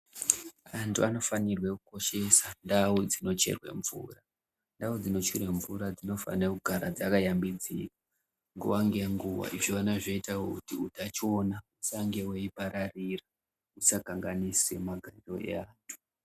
Vantu vanofanirwe kukosheswa ndau dzinocherwe mvura ndau dzinocherwe mvura dsinofanirwe kugara dzakayambidziwa nguwa ngenguwa vechiona zvinoita kuti utachiona husange hweipararira husakanganise magariro eantu.